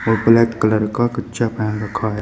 Black colour का कच्छा पहन रखा है।